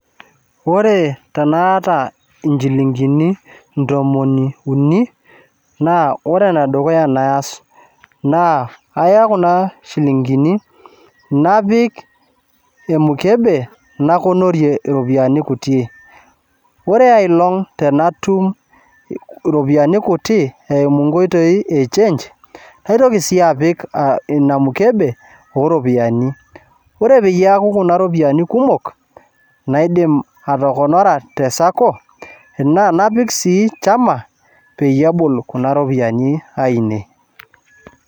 Ore tanaata inchilingini ntomoni uni, na ore enedukuya naas, naa kaya kuna shilinkini, napik emukebe nakonorie iropiyiani kutie. Ore ai olong' tenatum iropiyiani kuti eimu nkoitoi e change, naitoki si apik ina mukebe oropiyiani. Ore peyie eku kuna ropiyaiani kumok, naidim atokonora te Sacco, enaa napik sii chama ,peyie ebul kuna ropiyiani ainei.